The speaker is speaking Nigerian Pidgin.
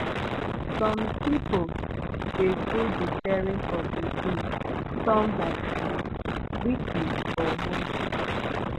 som pipo de do di sharing of di bills turn by turn weekly or monthly